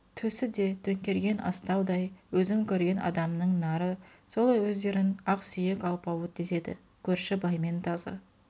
төсі де төңкерген астаудай өзім көрген адамның нары сол өздерін ақсүйек алпауыт деседі көрші баймен тазы